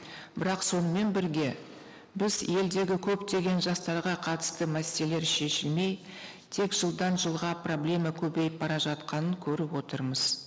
бірақ сонымен бірге біз елдегі көптеген жастарға қатысты мәселелер шешілмей тек жылдан жылға проблема көбейіп бара жатқанын көріп отырмыз